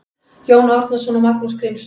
Jón Árnason og Magnús Grímsson